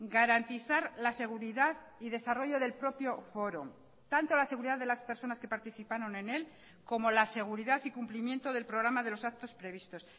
garantizar la seguridad y desarrollo del propio foro tanto la seguridad de las personas que participaron en él como la seguridad y cumplimiento del programa de los actos previstos